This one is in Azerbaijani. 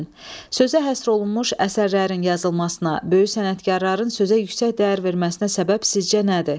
Sözə həsr olunmuş əsərlərin yazılmasına, böyük sənətkarların sözə yüksək dəyər verməsinə səbəb sizcə nədir?